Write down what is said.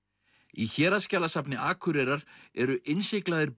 í Héraðsskjalasafni Akureyrar eru innsiglaðir